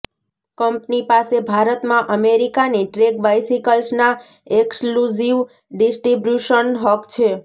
company પાસે ભારતમાં અમેરિકાની ટ્રેક બાઇસિકલ્સના એક્સ્ક્લુઝિવ ડિસ્ટ્રિબ્યુશન હક છે